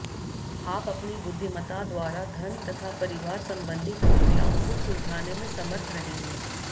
आप अपनी बुद्धिमता द्वारा धन तथा परिवार संबंधी समस्याओं को सुलझाने में समर्थ रहेंगे